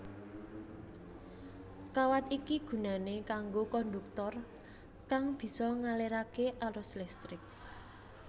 Kawat iki gunané kanggo kondhuktor kang bisa ngaliraké arus listrik